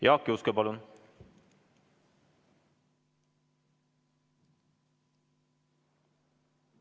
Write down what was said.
Jaak Juske, palun!